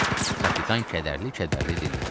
Kapitan kədərli-kədərli dilləndi.